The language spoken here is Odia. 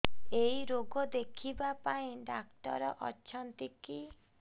ଏଇ ରୋଗ ଦେଖିବା ପାଇଁ ଡ଼ାକ୍ତର ଅଛନ୍ତି କି